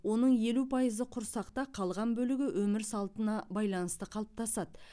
оның елу пайызы құрсақта қалған бөлігі өмір салтына байланысты қалыптасады